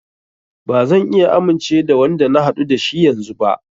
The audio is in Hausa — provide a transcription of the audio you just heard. Ba zan iya amince da Wanda na haɗu da shi yanzun ba.